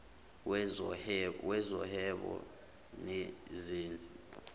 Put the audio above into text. wezo whebo nezezi